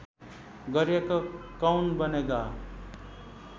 गरिएको कौन बनेगा